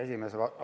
Hea juhataja!